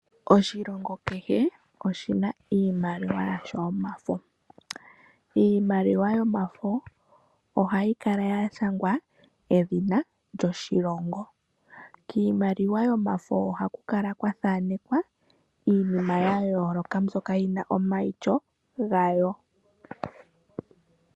Oshilongo kehe, oshina iimaliwa yasho yo mafo. Iimaliwa yo mafo ohayi kala ya shangwa edhina lyoshilongo. Kiimaliwa yo mafo oha kukala kwathanekwa iinima ya yooloka mbyoka yina omaityo gayo.